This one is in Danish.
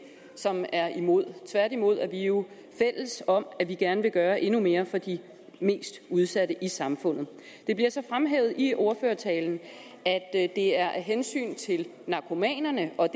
som er imod tværtimod er vi jo fælles om at vi gerne vil gøre endnu mere for de mest udsatte i samfundet det bliver så fremhævet i ordførertalen at det er af hensyn til narkomanerne og